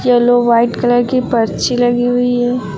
Yellow white colour की पर्ची लगी हुई है।